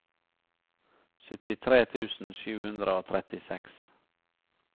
syttitre tusen sju hundre og trettiseks